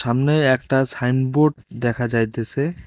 সামনে একটা সাইনবোর্ড দেখা যাইতেছে।